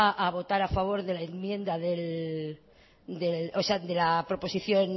a votar a favor de la enmienda o sea de la proposición